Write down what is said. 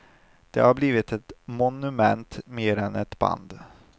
De har blivit ett monument mer än ett band.